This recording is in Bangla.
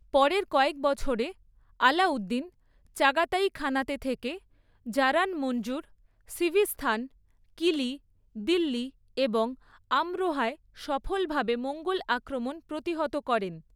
পরের কয়েক বছরে, আলাউদ্দিন চাগাতাই খানাতে থেকে জারান মঞ্জুর, সিভিস্তান, কিলি, দিল্লি এবং আমরোহায় সফলভাবে মঙ্গোল আক্রমণ প্রতিহত করেন।